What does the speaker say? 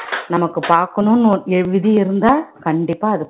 நமக்கு பாக்கணும்னு ஓ~ விதி இருந்தா கண்டிப்பா அது